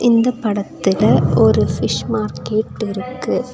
இந்த படத்துல ஒரு ஃபிஷ் மார்க்கெட்டிருக்கு .